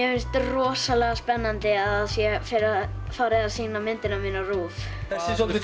finnst rosalega spennandi að sé farið að sýna myndina mína á RÚV þessi er soldið